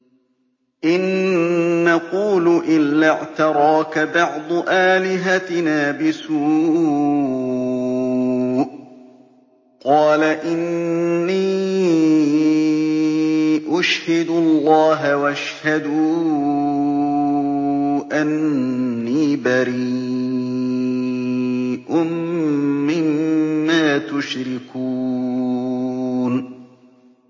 إِن نَّقُولُ إِلَّا اعْتَرَاكَ بَعْضُ آلِهَتِنَا بِسُوءٍ ۗ قَالَ إِنِّي أُشْهِدُ اللَّهَ وَاشْهَدُوا أَنِّي بَرِيءٌ مِّمَّا تُشْرِكُونَ